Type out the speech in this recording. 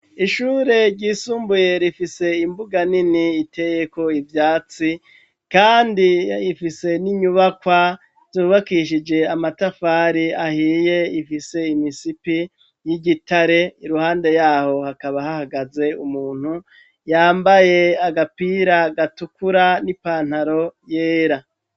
Ishure ryisumbuye rifise imbuga nini itegeko ibyatsi kandi ifise n'inyubakwa zubakishije amatafari ahiye ifise imisipi y'igitare iruhande yaho hakaba hahagaze umuntu yambaye agapira gatukura n'ipantaro yera.